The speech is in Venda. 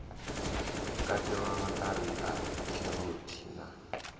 katelwa maṱari a kheroti na